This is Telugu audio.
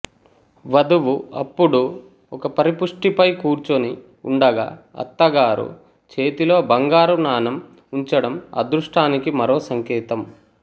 వధువు అప్పుడు ఒక పరిపుష్టిపై కూర్చుని ఉండగా అత్తగారు చేతిలో బంగారు నాణెం ఉంచడం అదృష్టానికి మరో సంకేతం